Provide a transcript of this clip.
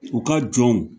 U ka jɔnw